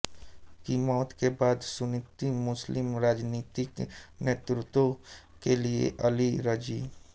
की मौत के बाद सुन्नी मुस्लिम राजनीतिक नेतृत्व के लिए अली रजी